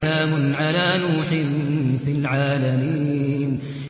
سَلَامٌ عَلَىٰ نُوحٍ فِي الْعَالَمِينَ